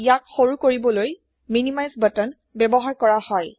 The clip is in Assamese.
ইয়াক সৰু কৰিবলৈ মিনিমাইজ বাটন ব্যৱহাৰ কৰা হয়